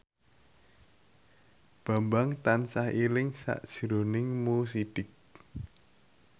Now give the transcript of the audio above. Bambang tansah eling sakjroning Mo Sidik